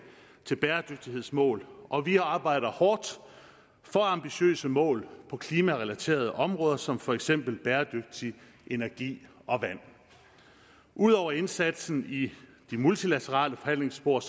til bæredygtighedsmål og vi arbejder hårdt for ambitiøse mål på klimarelaterede områder som for eksempel bæredygtig energi og vand ud over indsatsen i de multilaterale forhandlingspor